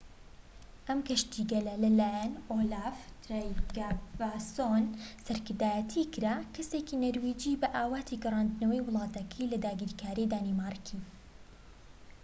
ئەم کەشتیگەلە لە لایەن ئۆلاف ترایگڤاسۆن سەرکردایەتی کرا کەسێکی نەرویجی بە ئاواتی گەڕاندنەوەی وڵاتەکەی لە داگیرکاری دانیمارکی